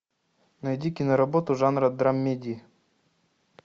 найди киноработу жанра драмеди